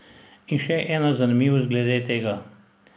In se ena zanimivost glede tega.